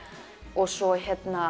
og svo